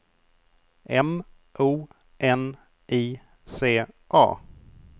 M O N I C A